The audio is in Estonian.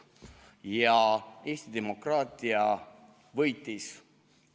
Ja Eesti demokraatia võitis.